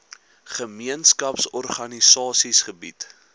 gemeenskaps organisasies gebied